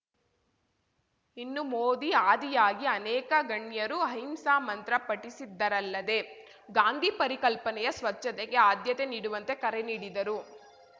ಇನ್ನು ಮೋದಿ ಆದಿಯಾಗಿ ಅನೇಕ ಗಣ್ಯರು ಅಹಿಂಸಾ ಮಂತ್ರ ಪಠಿಸಿದರಲ್ಲದೆ ಗಾಂಧಿ ಪರಿಕಲ್ಪನೆಯ ಸ್ವಚ್ಛತೆಗೆ ಆದ್ಯತೆ ನೀಡುವಂತೆ ಕರೆ ನೀಡಿದರು